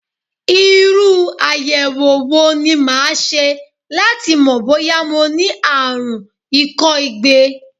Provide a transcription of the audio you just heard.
Irú àyẹ̀wò wo ni màá ṣe láti mọ̀ bóyá mo ní àrùn ikọ́ igbe?